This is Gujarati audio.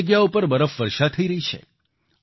અનેક જગ્યાઓ પર બરફવર્ષા થઈ રહી છે